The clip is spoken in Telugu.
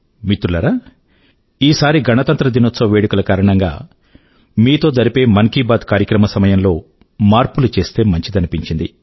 మిత్రులారా ఈసారి గణతంత్ర దినోత్సవ వేడుకల కారణం గా మీతో జరిపే మన్ కీ బాత్ కార్యక్రమం సమయం లో మార్పులు చేస్తే మంచిదనిపించింది